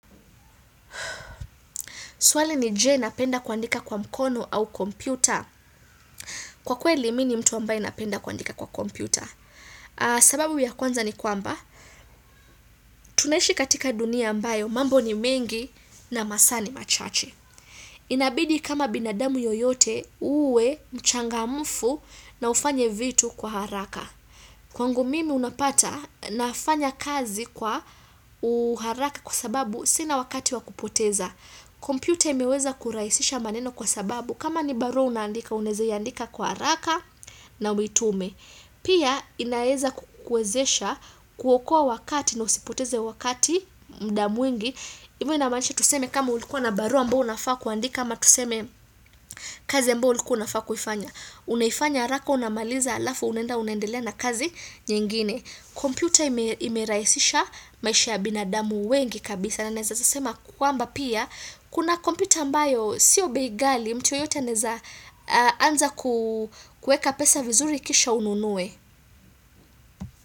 Swali ni je, napenda kuandika kwa mkono au kompyuta? Kwa kweli, mi ni mtu ambaye napenda kuandika kwa kompyuta. Sababu ya kwanza ni kwamba. Tunaishi katika dunia ambayo mambo ni mengi na masaa ni machache. Inabidi kama binadamu yoyote uwe mchangamfu na ufanye vitu kwa haraka. Kwangu mimi unapata nafanya kazi kwa uharaka kwa sababu sina wakati wa kupoteza. Computer imeweza kurahisisha maneno kwa sababu kama ni barua unaandika, unaweza iandika kwa haraka na uitume. Pia inaweza kukuwezesha kuokoa wakati na usipoteze wakati muda mwingi. Hivyo inamaanisha tuseme kama ulikuwa na barua ambayo unafaa kuandika, ama tuseme kazi ambayo ulikuwa unafaa kuifanya. Unaifanya haraka unamaliza alafu unaenda unaendelea na kazi nyingine. Kompyuta imerahisisha maisha ya binadamu wengi kabisa na naeza sema kwamba pia Kuna kompyuta ambayo sio bei ghali mtu yeyote anaweza anza kuweka pesa vizuri kisha ununuwe.